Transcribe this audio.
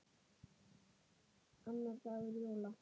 Annar dagur jóla.